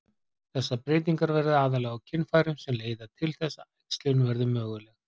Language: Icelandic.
Þessar breytingar verða aðallega á kynfærum sem leiða til þess að æxlun verður möguleg.